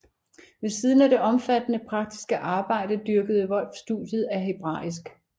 Men ved siden af det omfattende praktiske arbejde dyrkede Volf studiet af hebraisk